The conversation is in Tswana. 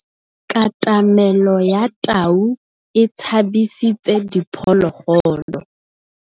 Katamêlô ya tau e tshabisitse diphôlôgôlô.